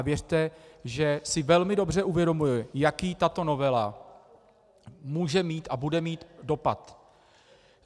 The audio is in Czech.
A věřte, že si velmi dobře uvědomuji, jaký tato novela může mít a bude mít dopad.